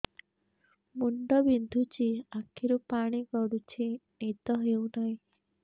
ମୁଣ୍ଡ ବିନ୍ଧୁଛି ଆଖିରୁ ପାଣି ଗଡୁଛି ନିଦ ହେଉନାହିଁ